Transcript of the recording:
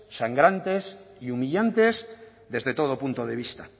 sangrantes y humillantes desde todo punto de vista